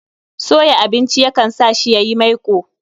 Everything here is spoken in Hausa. Soya abinci ya kan sa shi yayi maiko